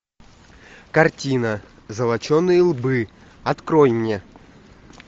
картина золоченые лбы открой мне